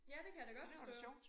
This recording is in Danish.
Ja det kan jeg da godt forstå